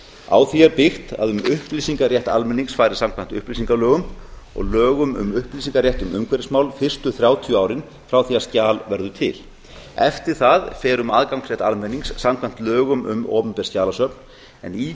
á því er byggt að um upplýsingarétt almennings fari samkvæmt upplýsingalögum og lögum um upplýsingarétt um umhverfismál fyrstu þrjátíu árin frá því að skjal verður til eftir það fer um aðgang almennings samkvæmt lögum um opinber skjalasöfn en í